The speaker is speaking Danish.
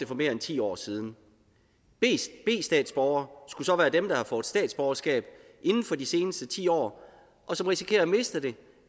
for mere end ti år siden b statsborgere skulle så være dem der har fået statsborgerskab inden for de seneste ti år og som risikerer at miste det